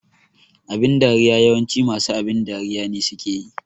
Abin dariya yawanci masu abin dariya ne suke yi